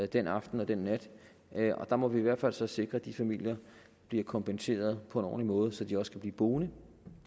den aften og den nat og der må vi i hvert fald så sikre at de familier bliver kompenseret på måde så de også kan blive boende